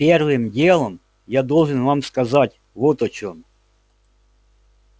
первым делом я должен вам сказать вот о чём